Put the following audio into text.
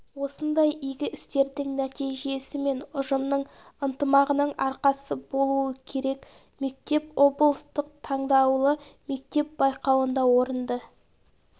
осындай игі істердің нәтижесі мен ұжымның ынтымағының арқасы болуы керек мектеп облыстық таңдаулы мектеп байқауында орынды